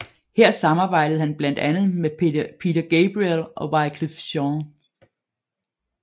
Her samarbejdede han blandt andre med Peter Gabriel og Wyclef Jean